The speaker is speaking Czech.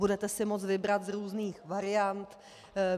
Budete si moct vybrat z různých variant.